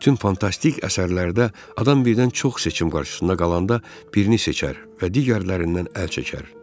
Bütün fantastik əsərlərdə adam birdən çox seçim qarşısında qalanda birini seçər və digərlərindən əl çəkər.